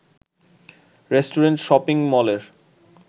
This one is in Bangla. রেস্টুরেন্ট, শপিং মলের